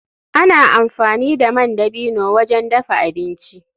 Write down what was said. Ana amfani da man dabino wajen dafa abinci.